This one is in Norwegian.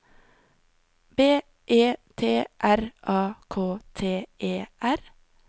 B E T R A K T E R